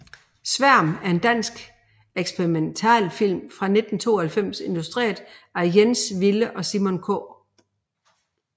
Sværm er en dansk eksperimentalfilm fra 1992 instrueret af Jens Wille og Simon K